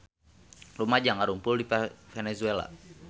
Rumaja ngarumpul di Venezuela